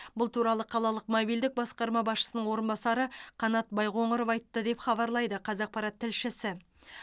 бұл туралы қалалық мобильділік басқармасы басшысының орынбасары қанат байқоңыров айтты деп хабарлайды қазақпарат тілшісі